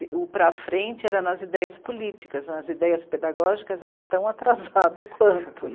O para frente era nas ideias políticas, nas ideias pedagógicas era tão atrasado quanto.